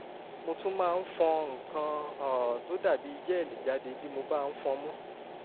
mo tún máa ń fọn nǹkan um tó dàbí jẹ́ẹ̀lì jáde bí mo bá fọnmú